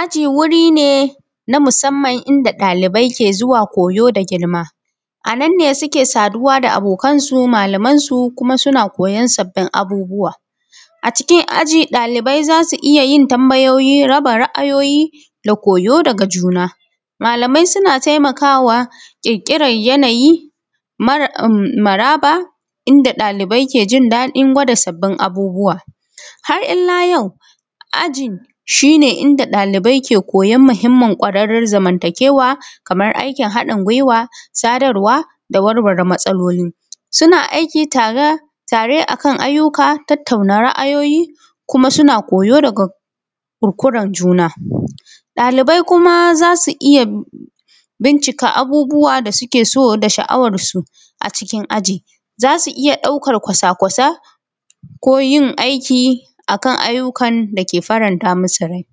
aji wuri ne na musamman inda ɗalibai ke zuwa koyo da girma a nan ne suke saduwa da abokansu malamansu kuma suna koyon sabbin abubuwa a cikin aji ɗalibai zasu iya yin tambayoyi rabin ra`ayoyi da koyo daga juna malamai suna taimakawa kirkiran yanayi maraba inda dalibai suke jin daɗin gwada sabbin abubuwa har illa jau aji shi ne inda dalibai ke koyon muhimmin kwararren zamantakewa kaman aikin haɗin gwiwa sadarwa da warware matsalolin suna aiki tara tare akan aiyuka tattauna ra`ayoyi kuma suna koyo daga kir kurkuran juna daliban kuma zasu iya bincika abubuwa da suke so da sha`awarsu a cikin aji zasu iya daukan kwasa kwasai ko yin aiki akan aiyukan dake faranta musu rai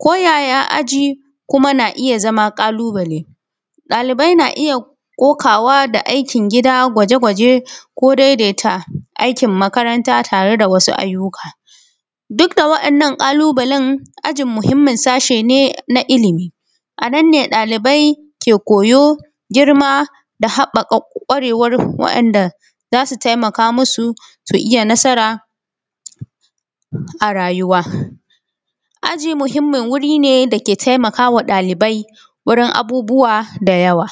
ko yaya ayi kuma na iya zama ƙalu bale dalibai na iya kokawa da aikin gida gwaje gwaje ko daidaita aikin makaranta tare da wasu aiyuka duk da waɗannan ƙalu balen aji mahimman sashe ne na ilimi a nan ne dalibai ke koyo girma da haɓɓaka kwarewan waɗanda zasu taimaka musu su iya nasara a rayuwa aji muhimmin wuri ne dake taimakawa dalibai wurin abubuwa da yawa